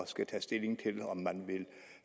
skulle tage stilling til om man vil